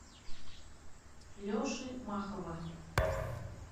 леши махова